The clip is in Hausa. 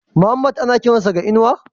Muhammad ana kiran sa da Inuwa?